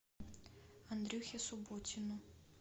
андрюхе субботину